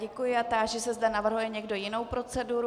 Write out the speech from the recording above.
Děkuji a táži se, zda navrhuje někdo jinou proceduru.